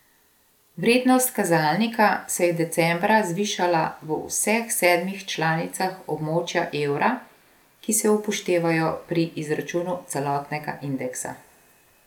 Vrednost kazalnika se je decembra zvišala v vseh sedmih članicah območja evra, ki se upoštevajo pri izračunu celotnega indeksa.